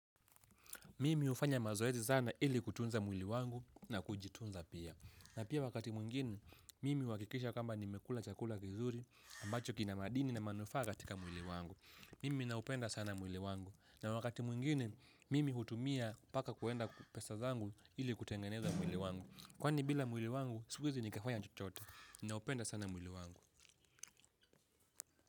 Mimi hufanya mazoezi sana ili kutunza mwili wangu na kujitunza pia. Na pia wakati mwingine, mimi huhakikisha kama nimekula chakula kizuri ambacho kina madini na manufaa katika mwili wangu. Mimi naupenda sana mwili wangu. Na wakati mwingine, mimi hutumia mpaka kuenda pesa zangu ili kutengeneza mwili wangu. Kwani bila mwili wangu, siwezi nikafanya chochote. Naupenda sana mwili wangu.